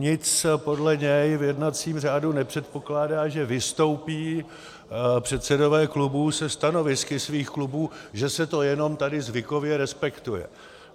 Nic podle něj v jednacím řádu nepředpokládá, že vystoupí předsedové klubů se stanovisky svých klubů, že se to jenom tady zvykově respektuje.